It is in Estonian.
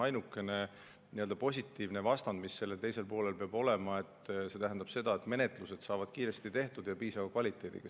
Ainukene positiivne mõju, mis sellel teisel poolel peab olema, on see, et menetlused saavad tehtud kiiresti ja piisava kvaliteediga.